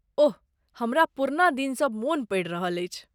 ओह, हमरा पुरना दिनसब मोन पड़ि रहल अछि।